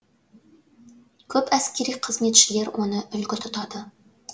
көп әскери қызметшілер оны үлгі тұтады